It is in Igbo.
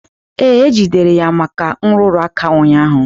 Ee, e jidere ya maka nrụrụ aka ụnyaahụ.